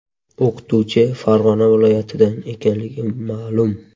O‘qituvchi Farg‘ona viloyatidan ekanligi ma’lum.